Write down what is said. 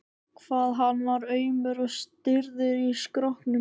hvað hann var aumur og stirður í skrokknum!